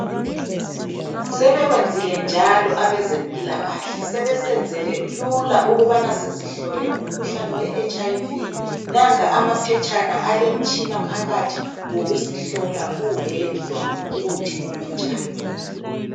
Sebekwenzile njalo abezempilakahle sebesenzele lula ukubana sizihlole umkhuhlane weHIV nanka amaphetshana elemtshina phakathi wokuzihlola uwedwa ukuthi umi njani.